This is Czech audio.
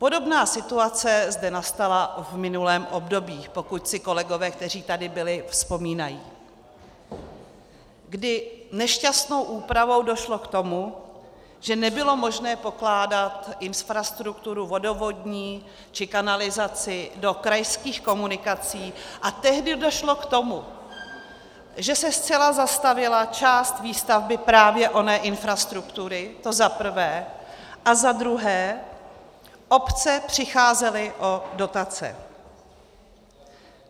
Podobná situace zde nastala v minulém období, pokud si kolegové, kteří tady byli, vzpomínají, kdy nešťastnou úpravou došlo k tomu, že nebylo možné pokládat infrastrukturu vodovodní či kanalizaci do krajských komunikací, a tehdy došlo k tomu, že se zcela zastavila část výstavby právě oné infrastruktury, to za prvé, a za druhé obce přicházely o dotace.